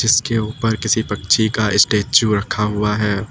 इसके ऊपर किसी पक्षी का स्टेच्यू रखा हुआ है।